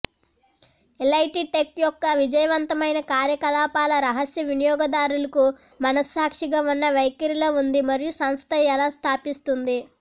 elite Tech యొక్క విజయవంతమైన కార్యకలాపాల రహస్య వినియోగదారులకు మనస్సాక్షిగా ఉన్న వైఖరిలో ఉంది మరియు సంస్థ ఎలా స్థాపిస్తుంది